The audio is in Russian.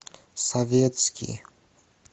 советский